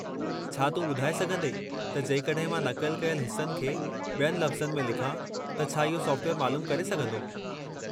छा तूं ॿुधाए सघंदे त जेकड॒हिं मां नक़ल कयलु हिस्सनि खे ॿियनि लफ़्ज़नि में लिखां त छा इहो सॉफ़्टवेयर मालूमु करे सघंदो?